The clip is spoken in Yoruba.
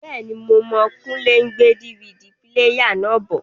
Bẹ́ẹ̀ni, Mo mọ̀ Kúnlé n gbé DVD píléyà náà bọ̀